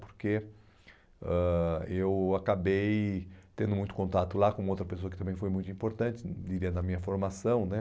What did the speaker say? Porque ãh eu acabei tendo muito contato lá com outra pessoa que também foi muito importante, diria, na minha formação, né?